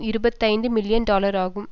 இருபத்தி ஐந்து million dollar ஆகும்